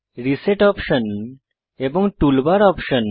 reset option এবং toolbar option